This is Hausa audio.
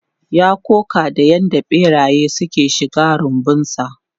Ya koka da yadda barayi suka shiga rumbunsa.